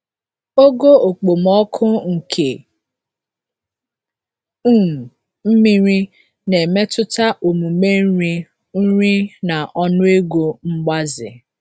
Ogo okpomọkụ nke um mmiri na-emetụta omume nri nri na ọnụego mgbaze.